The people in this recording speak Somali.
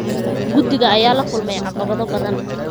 Guddiga ayaa la kulmay caqabado badan.